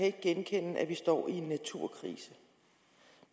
ikke genkende at vi står i en naturkrise